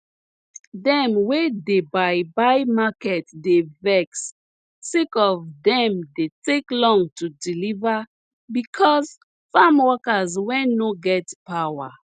dem wey dey buy buy market dey vex sake of dem dey take long to deliver bicos farm workers wey nor get power